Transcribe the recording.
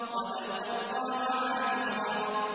وَلَوْ أَلْقَىٰ مَعَاذِيرَهُ